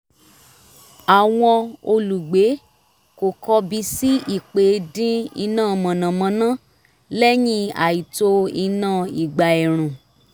àwọn olùgbé kò kọbi sí ípè dín iná mànàmáná lẹ́yìn àìtó iná ìgbà ẹ̀rùn